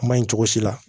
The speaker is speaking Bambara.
Kuma in cogo si la